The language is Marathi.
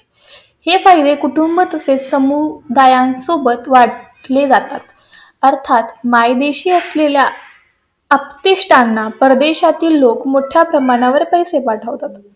हे पाहिजे. कुटुंब हे समूह गायन सोबत वाटले जातात. अर्थात मायदेशी असलेल्या आप्तेष्टांना परदेशा तील लोक मोठ्या प्रमाणावर पैसे पाठवतात.